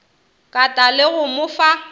kata le go mo fa